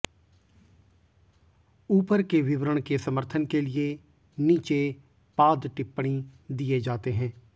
ऊपर के विवरण के समर्थन के लिए नीचे पाद टिपण्णी दिए जातें हैं